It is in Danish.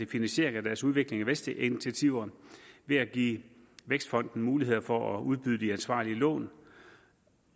finansiering af deres udviklings og vækstinitiativer ved at give vækstfonden muligheder for at udbyde de ansvarlige lån